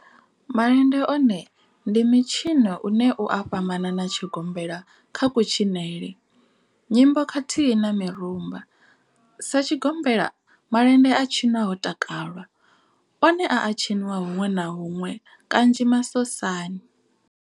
Malende one ndi mitshino une u a fhambana na tshigombela kha kutshinele, nyimbo khathihi na mirumba. sa tshigombela, malende a tshinwa ho takalwa, one a a tshiniwa hunwe na hunwe kanzhi masosani.